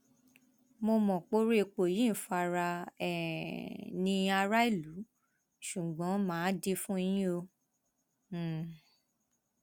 mo mọ poro epo yìí ń fara um ní aráàlú ṣùgbọn má a dì í fún yín o um